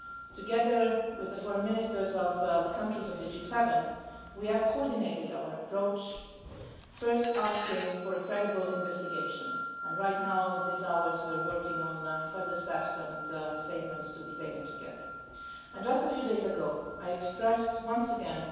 Together with the Foreign Ministers of the countries of the G7, we have coordinated our approach, first asking for a credible investigation and, right now at this moment, working on further statements and steps to be taken together. Just a few days ago, I expressed once again,